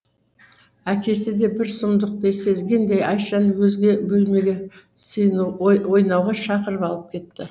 әкесі де бір сұмдықты сезгендей айшаны өзге бөлмеге ойнауға шақырып алып кетті